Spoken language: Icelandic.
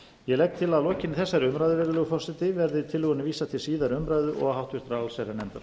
ég legg til að lokinni þessari umræðu virðulegur forseti verði tillögunni vísað til síðari umræðu og háttvirtrar allsherjarnefndar